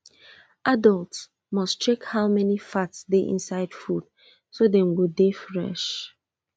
adult must check how many fat dey inside food so dem go dey fresh